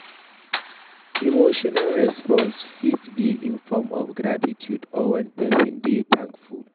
Emotional response fit be in form of gratitude or when person dey thankful